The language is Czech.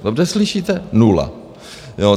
Dobře slyšíte, nula.